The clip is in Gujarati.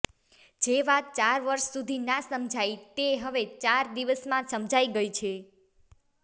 જે વાત ચાર વર્ષ સુધી ના સમજાઈ તે હવે ચાર દિવસમાં સમજાઈ ગઈ છે